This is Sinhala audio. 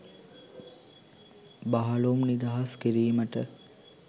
බහලුම් නිදහස් කිරීමට